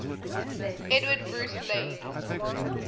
edward bruce laid